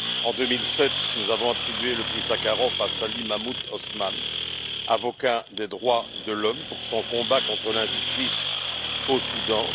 En 2007, nous avons attribué le prix Sakharov à Salih Mahmoud Osman, avocat des droits de l'homme, pour son combat contre l'injustice au Soudan.